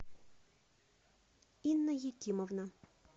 инна екимовна